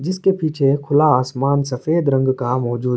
جیس کع پیچھع کھولا اسماان سفید رنگ کا مہجوءد حای۔